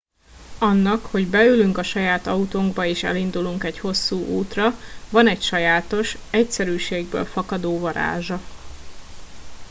annak hogy beülünk a saját autónkba és elindulunk egy hosszú útra van egy sajátos egyszerűségből fakadó varázsa